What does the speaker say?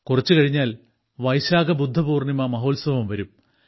കുറച്ചുകഴിഞ്ഞാൽ വൈശാഖ ബുദ്ധ പൂർണ്ണിമ മഹോത്സവം വരും